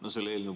Aitäh!